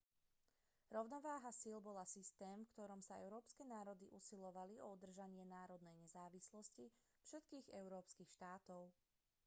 rovnováha síl bola systém v ktorom sa európske národy usilovali o udržanie národnej nezávislosti všetkých európskych štátov